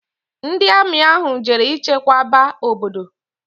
Ndi Ami ahu jere ichekwaba obodo